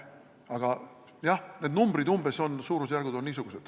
Aga jah, need numbrid, suurusjärgud on niisugused.